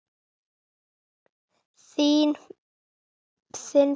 Þinn, Björn Leví.